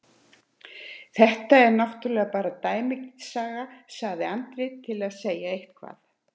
Þetta er náttúrlega bara dæmisaga, sagði Andri til að segja eitthvað.